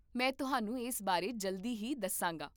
ਮੈਂ ਤੁਹਾਨੂੰ ਇਸ ਬਾਰੇ ਜਲਦੀ ਹੀ ਦੱਸਾਂਗਾ